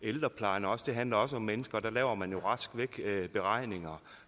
ældreplejen også det handler også om mennesker og der laver man rask væk beregninger